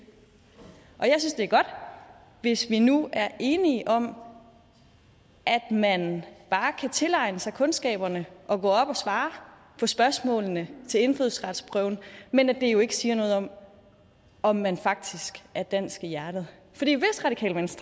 er godt hvis vi nu er enige om at man bare kan tilegne sig kundskaberne og gå op og svare på spørgsmålene til indfødsretsprøven men at det jo ikke siger noget om om man faktisk er dansk i hjertet